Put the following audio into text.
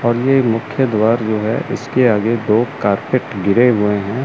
और ये मुख्य द्वार जो है इसके आगे दो कारपेट गिरे हुए हैं।